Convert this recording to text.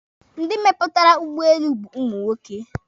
Ndị mepụtara ụgbọelu bụ ụmụ nwoke.